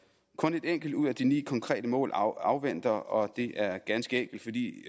kun et enkelt ud af de ni konkrete mål afventer operationalisering og det er ganske enkelt fordi